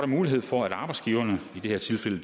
mulighed for at arbejdsgiverne i det her tilfælde